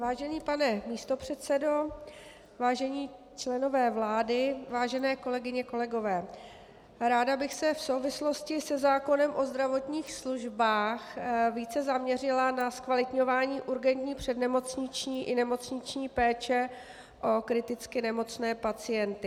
Vážený pane místopředsedo, vážení členové vlády, vážené kolegyně, kolegové, ráda bych se v souvislosti se zákonem o zdravotních službách více zaměřila na zkvalitňování urgentní přednemocniční i nemocniční péče o kriticky nemocné pacienty.